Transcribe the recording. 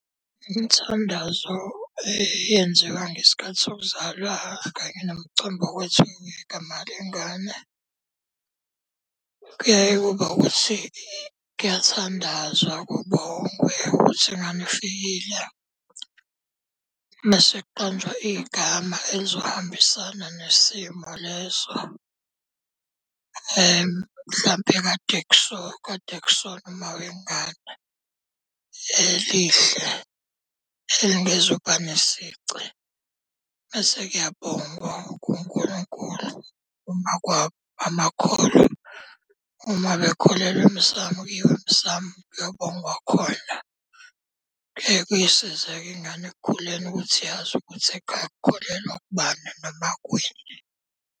Imithandazo eyenziwa ngesikhathi sokuzalwa kanye nomcimbi wokwethiwa kwegama lengane, kuyaye kube ukuthi kuyathandazwa, kubongwe ukuthi ingane ifikile. Mese kuqanjwa igama elizohambisana nesimo leso mhlampe kade kade kusolwa uma wengane. Elihle, elingezukuba nesici, mese kuyabongwa, kuNkulunkulu, uma kungamakholwa. Uma bekholelwa emsamu kuyiwa emsamu kuyobongwa khona. Kuyeke kuyisize-ke ingane ekukhuleni ukuthi yazi ukuthi ekhaya kukholelwa kubani noma kwini.